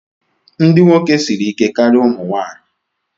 Ndị nwoke siri ike karịa ụmụ nwanyị.